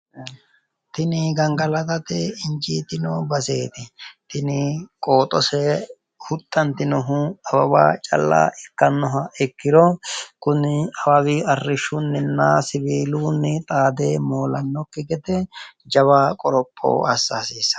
Tini gangalatate injiitino baseeti tini qooxose huxxantinohu awawa calla ikkannoha ikkiro kuni awawi arrishshunninna siwiilunni xaade moolannokki gede jawa qoropho assa hasiissanno.